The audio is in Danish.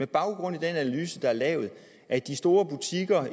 baggrund af den analyse der er lavet at de store butikker